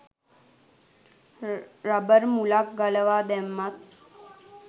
rubber මුලක් ගලවා දැම්මත්